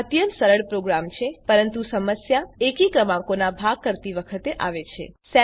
આ અત્યંત સરળ પ્રોગ્રામ છે પરંતુ સમસ્યા એકી ક્રમાંકોનાં ભાગ કરતી વખતે આવે છે